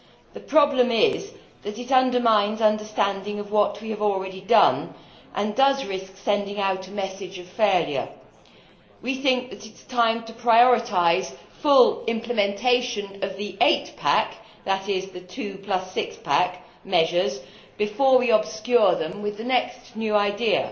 The problem is that it undermines understanding of what we have already done and risks sending out a message of failure. We think it is time to prioritise full implementation of the Eight Pack, that is the Two plus Six Pack measures, before we obscure them with the next new idea,